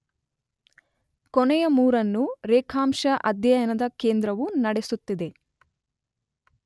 ಕೊನೆಯ ಮೂರನ್ನು ರೇಖಾಂಶ ಅಧ್ಯಯನದ ಕೇಂದ್ರವು ನಡೆಸುತ್ತಿದೆ.